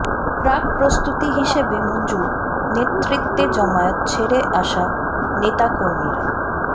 প্রাক প্রস্তুতি হিসেবে মঞ্জুর নেতৃত্বে জামায়াত ছেড়ে আসা নেতাকর্মীরা